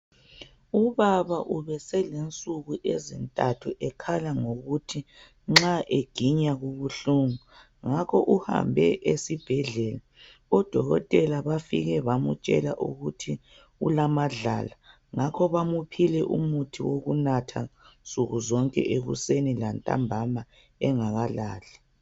Ubaba ubeselensuku ezintathu ekhala ngokuthi nxa eginya kubuhlungu ngakho uhambe esibhedlela odokotela bafike bamutsha ukuthi ulamadlala ngakho bamuphile umuthi wokunatha nsuku zonke ekuseni lantambama engakalali